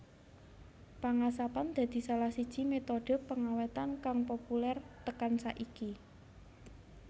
Pengasapan dadi salah siji metode pengawétan kang populer tekan saiki